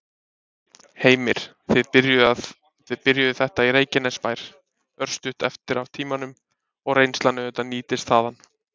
Heimir: Þið byrjuðuð þetta í Reykjanesbær, örstutt eftir af tímanum, og reynslan auðvitað nýtist þaðan?